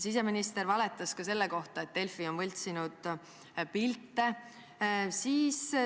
Siseminister valetas sellegi kohta, et Delfi on võltsinud pilte.